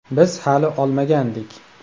Biz hali olmagandik.